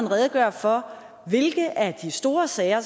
redegøre for hvilke af de store sager